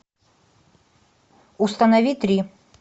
установи три